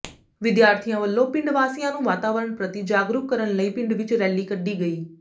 ਵਿਦਿਆਰਥੀਆਂ ਵੱਲੋਂ ਪਿੰਡ ਵਾਸੀਆਂ ਨੂੰ ਵਾਤਾਵਰਨ ਪ੍ਰਤੀ ਜਾਗਰੂਕ ਕਰਨ ਲਈ ਪਿੰਡ ਵਿੱਚ ਰੈਲੀ ਕੱਢੀ ਗਈ